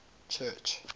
church